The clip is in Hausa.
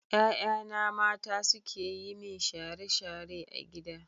Ƴaƴana mata suke yi min share-share a gida.